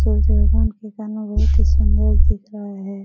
सूर्य भगवान के कारण बहुत ही सुन्दर दिख रहा है।